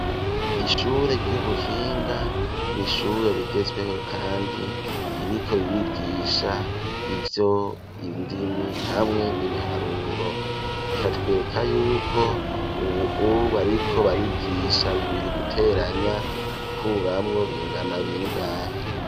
Ishure ry'ubuhinga n'ishure rigezweho kandi iriko ririgisha ivy'indimi hamwe n'ibiharuro rikatwereka yuko ubu bariko barigisha bibiri guteranya gukuramwo bingana b'ingahe.